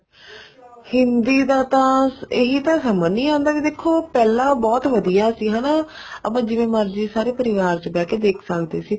ਹਿੰਦੀ ਦਾ ਤਾਂ ਇਹੀ ਤਾਂ ਸਮਝ ਨੀ ਆਉਂਦਾ ਵੀ ਦੇਖੋ ਪਹਿਲਾਂ ਬਹੁਤ ਵਧੀਆ ਸੀ ਹਨਾ ਆਪਾ ਜਿਵੇਂ ਮਰਜ਼ੀ ਸਾਰੇ ਪਰਿਵਾਰ ਚ ਬਹਿ ਕੇ ਦੇਖ ਸਕਦੇ ਸੀ